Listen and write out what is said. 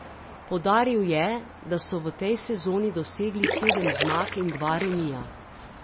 Poudaril je, da so v tej sezoni dosegli sedem zmag in dva remija.